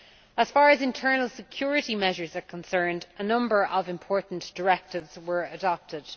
As far as internal security measures are concerned, a number of important directives were adopted.